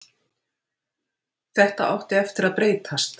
Þetta átti eftir að breytast.